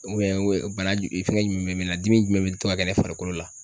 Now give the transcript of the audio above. bana fɛngɛ jumɛn bɛ na dimi jumɛn bɛ to ka kɛ ne farikolo la?